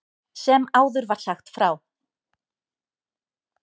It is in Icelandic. Sem áður var sagt frá.